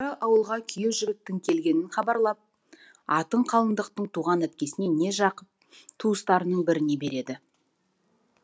жолдастары ауылға күйеу жігіттің келгенін хабарлап атын қалыңдықтың туған әпкесіне не жақын туыстарының біріне береді